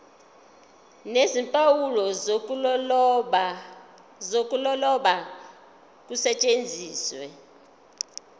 nezimpawu zokuloba kusetshenziswe